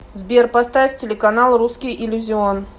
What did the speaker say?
сбер поставь телеканал русский иллюзион